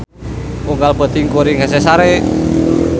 Unggal peuting kuring hese sare